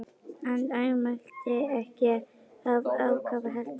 Hann andmælti ekki af ákafa, heldur undrun.